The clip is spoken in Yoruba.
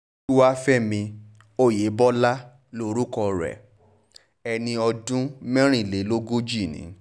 olúwàfẹ̀mí ọ̀yẹ́bọlá lorúkọ rẹ̀ ẹni ọdún mẹ́rìnlélógójìí ni